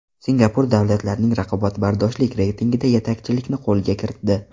Singapur davlatlarning raqobatbardoshlik reytingida yetakchilikni qo‘lga kiritdi.